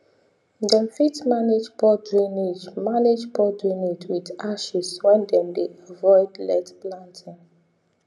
dem fit manage poor drainage manage poor drainage with ashes when dem dey avoid let planting